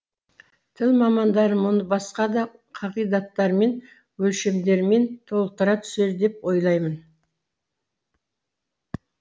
тіл мамандары мұны басқа да қағидаттармен өлшемдермен толықтыра түсер деп ойлаймын